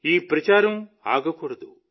ఈ ప్రచారం ఆగకూడదు